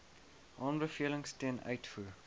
aanbevelings ten uitvoer